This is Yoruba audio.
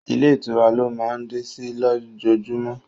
Ilé ìtura lọ máa ń dé sí ló jojúmọ́